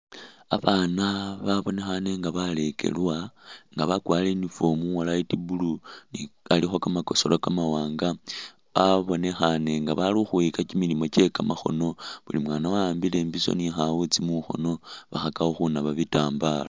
Abaana babonekhane nga balekelwa nga bakwarire uniform was light blue i alikho kamakosola kamawaanga abonekhaane nga bali ukhwiyika kimilimo kye kamakhono buli mwaana wa'ambile imbiso ni khawuutsi mukhoono khabakhakakho khunaba bitambala.